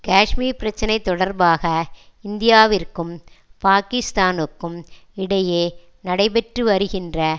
காஷ்மீர் பிரச்சினை தொடர்பாக இந்தியாவிற்கும் பாகிஸ்தானுக்கும் இடையே நடைபெற்று வருகின்ற